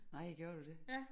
Nej gjorde du det